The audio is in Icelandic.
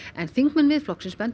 en þingmenn Miðflokksins benda